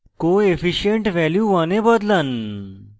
coefficient value 100 এ বদলান